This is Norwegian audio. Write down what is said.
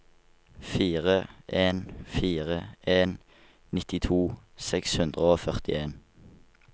fire en fire en nittito seks hundre og førtien